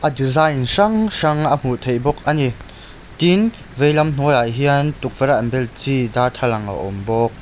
a design hrang hrang a hmuh theih bawk a ni tin veilam hnuaiah hian tukverh a an bel chi darthlalang a awm bawk.